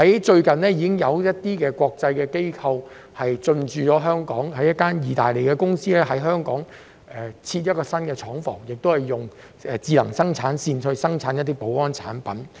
最近已有相關國際機構進駐香港，例如有一間意大利公司設立了新廠房，在香港運用智能生產線生產保安產品。